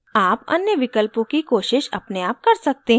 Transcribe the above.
आप अन्य विकल्पों की कोशिश अपने आप कर सकते हैं